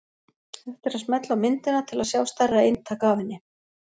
Hægt er að smella á myndina til að sjá stærra eintak af henni.